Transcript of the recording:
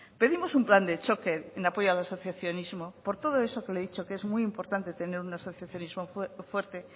pedimos un plan de choque en apoyo al asociacionismo por todo eso que le he dicho que es muy importante tener un asociacionismo fuerte